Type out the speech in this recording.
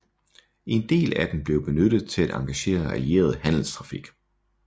En del af dem blev benyttet til at engagere allieret handelstrafik